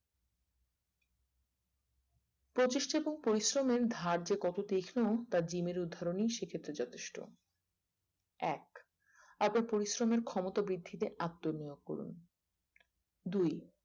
প্রতিষ্ঠিত ও পরিশ্রমের ধার যে কত তীক্ষও তা জিমের উধারণই শিখিতে যথেষ্ট এক আপন পরিশ্রমের ক্ষমতা বৃদ্ধিতে আত্ম নিয়োগ করুন দুই